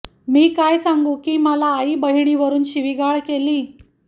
मी काय सांगू की मला आई बहिणीवरून शिविगाळ केली